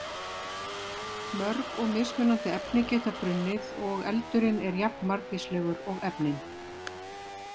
Mörg og mismunandi efni geta brunnið og eldurinn er jafnmargvíslegur og efnin.